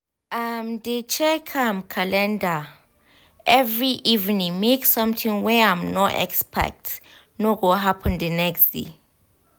im dey check im calendar every evening make sometin wey im no expect no go happen d next day